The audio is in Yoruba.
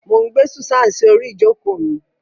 Mo n gbe Susan si ori ijoko mi.